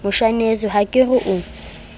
moshaneso ha ke re o